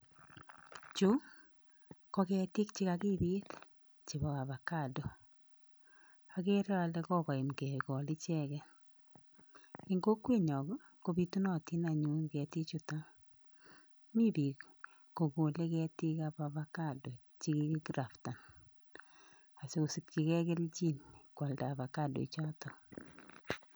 Chu ko ketik che kakipit chepo ovacado agree ale kokorm kekol icheget ing kokwenyo kopitunatin anyun ketichutami piik kokole ketik ap avocado chekiki graftan asikosikchige kelchin koalda avocado choto